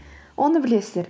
оны білесіздер